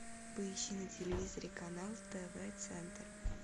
поищи на телевизоре канал тв центр